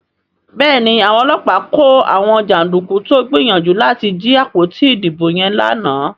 Béèni Àwọn ọlọ́pàá kò àwọn janduku tó gbìyànjú láti jí àpótí ìdìbò yen lànà.